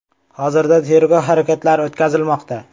Hozirda tergov harakatlari o‘tkazilmoqda.